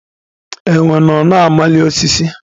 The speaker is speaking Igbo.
Enwe nọ na-amali osisi.